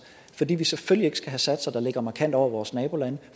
fordi vi selvfølgelig ikke skal have satser der ligger markant over vores nabolandet